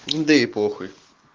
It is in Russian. да и похуй